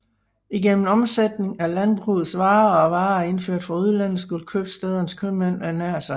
Igennem omsætning af landbrugets varer og af varer indført fra udlandet skulle købstædernes købmænd ernære sig